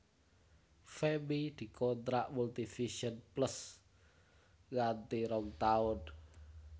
Femmy dikontrak Multivision Plus nganti rong taun